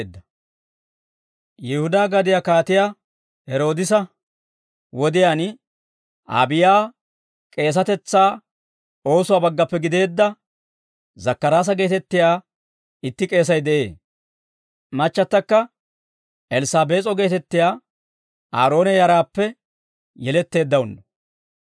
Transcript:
Yihudaa gadiyaa Kaatiyaa Heroodisa wodiyaan, Aabiyaa k'eesatetsaa oosuwaa baggappe gideedda Zakkaraasa geetettiyaa itti k'eesay de'ee. Machchattakka Elssaabees'o geetettiyaa Aaroone yaraappe yeletteeddawunno.